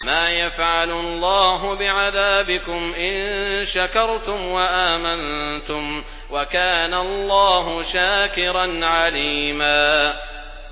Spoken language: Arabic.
مَّا يَفْعَلُ اللَّهُ بِعَذَابِكُمْ إِن شَكَرْتُمْ وَآمَنتُمْ ۚ وَكَانَ اللَّهُ شَاكِرًا عَلِيمًا